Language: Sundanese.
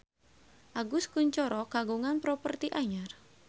Agus Kuncoro kagungan properti anyar